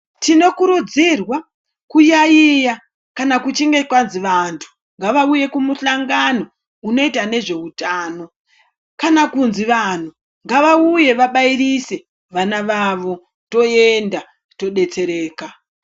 Tinokurudzirwa kuyaiya kana kuchinge kwanzi vantu ngavauye kumuhlangano unoita nezveutano, kana kunzi vantu ngavauye vabairise vana vavo, toenda todetsereka.